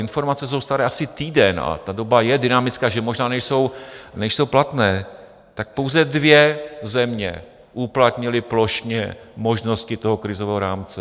Informace jsou staré asi týden a ta doba je dynamická, takže možná nejsou platné, tak pouze dvě země uplatnily plošně možnosti toho krizového rámce.